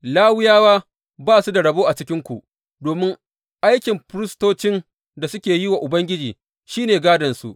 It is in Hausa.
Lawiyawa ba su da rabo a cikinku, domin aikin firistocin da suke yi wa Ubangiji shi ne gādonsu.